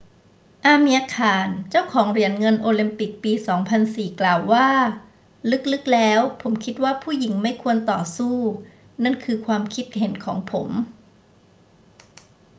อาเมียร์ ข่าน เจ้าของเหรียญเงินโอลิมปิกปี 2004 กล่าวว่า ลึก ๆ แล้วผมคิดว่าผู้หญิงไม่ควรต่อสู้ นั่นคือความคิดเห็นของผม